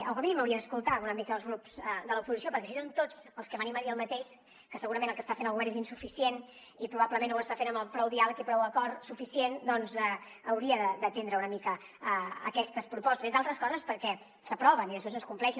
o com a mínim hauria d’escoltar una mica els grups de l’oposició perquè si som tots els que venim a dir el mateix que segurament el que està fent el govern és insuficient i probablement no ho està fent amb prou diàleg ni prou acord doncs hauria d’atendre una mica aquestes propostes entre altres coses perquè s’aproven i després no es compleixen